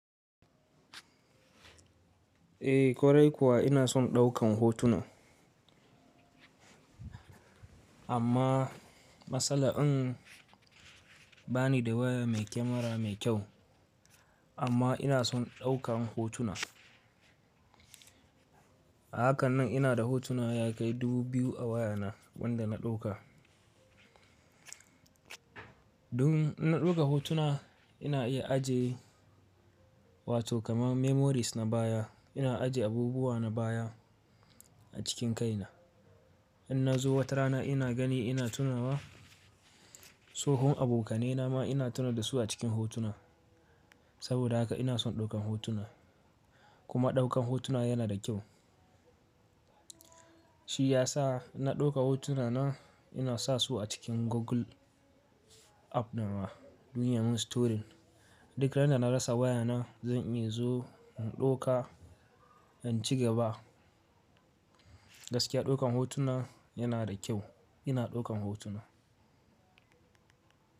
Eh, korai kuwa ina son ɗaukan hotuna. Amma matsala in bani da waya mai kyamara mai kyau, amma ina son ɗaukan hotuna. Hakanan ina da hotuna ya kai dubu biyu a wayana wanda na ɗauka. Dun na ɗauka hotuna ina iya ajiye, wato kama memories na baya. Ina ajiye abubuwa na baya a cikin kaina. In na zo wata rana ina gani ina tunawa tsohon abokanai na ma ina tuna da su a cikin hotuna. Saboda haka ina son ɗaukan hotuna. Kuma ɗaukan hotuna yana da kyau. Shi ya sa na ɗauka hotuna na, ina sa su a cikin Google app nama don ya mun storing. Duk randa na rasa wayana zan iya zo in ɗauka, in ci gaba. Gaskiya ɗaukan hotuna yana da kyau. Ina ɗaukan hotuna.